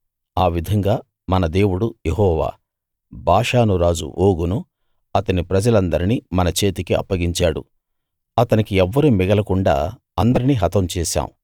ఆ విధంగా మన దేవుడు యెహోవా బాషాను రాజు ఓగును అతని ప్రజలందరినీ మన చేతికి అప్పగించాడు అతనికి ఎవ్వరూ మిగలకుండా అందరినీ హతం చేశాం